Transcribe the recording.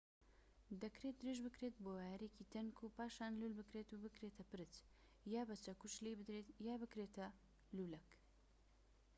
دەکرێت درێژ بکرێت بۆ وایەرێکی تەنک و پاشان لول بکرێت و بکرێتە پرچ یان بە چەکوش لێی بدرێت یان بکرێتە لولەک